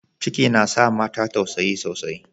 Ciki na sa mata tausayi sosai.